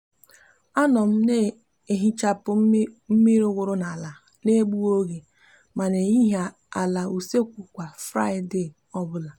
a no m m ehichapu miri wuru n'ala n'egughi oge ma n'ehichi ala usekwu kwa fraide obula